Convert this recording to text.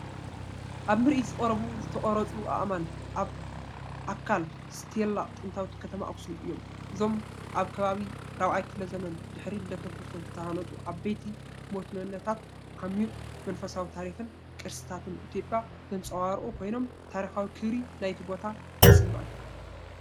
ኣብ ምርኢት ዝቐረቡ ዝተቐርጹ ኣእማን ኣካል ስቴላ ጥንታዊት ከተማ ኣኽሱም እዮም። እዞም ኣብ ከባቢ 4ይ ክፍለ ዘመን ድሕሪ ልደተ ክርስቶስ ዝተሃንጹ ዓበይቲ ሞኖሊትታት፡ ዓሚቝ መንፈሳዊ ታሪኽን ቅርስታትን ኢትዮጵያ ዘንጸባርቑ ኮይኖም፡ ታሪኻዊ ክብሪ ናይቲ ቦታ ይስመዓካ፡፡